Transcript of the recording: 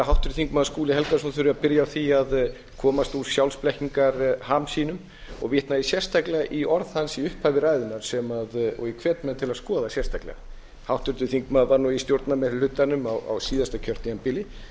háttvirtur þingmaður skúli helgason þurfi að byrja á því að komast úr sjálfsblekkingarham sínum og vitna ég sérstaklega í orð hans í upphafi ræðunnar og ég hvet menn til að skoða sérstaklega háttvirtur þingmaður var nú í stjórnarmeirihlutanum á síðasta kjörtímabili ég